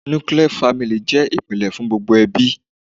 Nuclear family' jẹ́ ìpìlè fún gbogbo ẹbí